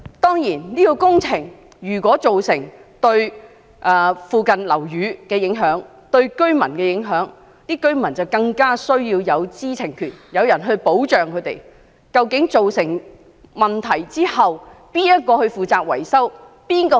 當然，如果有關工程對附近樓宇和居民造成影響，居民便更應有知情權，獲提供保障，讓他們知道當出現問題時，誰會負責維修？